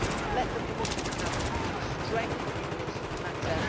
Let the Commission have strength in this matter.